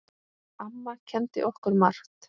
Amma kenndi okkur margt.